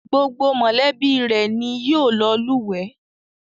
Gbogbo mọ̀lẹ́bí rẹ̀ ni yóò lọ lùwẹ́